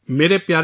نئی دہلی